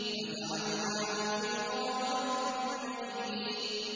فَجَعَلْنَاهُ فِي قَرَارٍ مَّكِينٍ